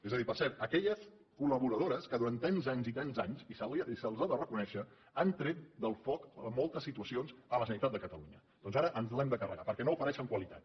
és a dir per cert aquelles col·laboradores que durant tants anys i tants anys i se’ls ho ha de reconèixer han tret del foc en moltes situacions la generalitat de catalunya doncs ara ens les hem de carregar perquè no ofereixen qualitat